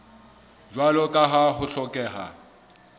jwalo ka ha ho hlokeha